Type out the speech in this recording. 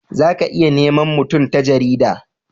za ka iya nema mutum ta jarida